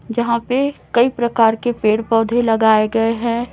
जहां पे कई प्रकार के पेड़ पौधे लगाए गए हैं।